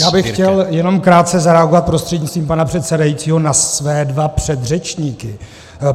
Já bych chtěl jenom krátce zareagovat prostřednictvím pana předsedajícího na své dva předřečníky.